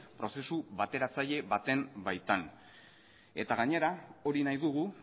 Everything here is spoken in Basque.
prozesu bateratzaile baten baitan eta gainera hori nahi dugu